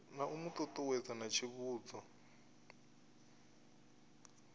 na u ṱuṱuwedza na tsivhudzo